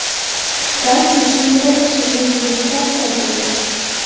balki sumkada tashilgan yeguliklar kerak edi.